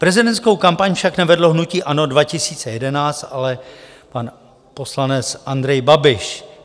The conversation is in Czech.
Prezidentskou kampaň však nevedlo hnutí ANO 2011, ale pan poslanec Andrej Babiš.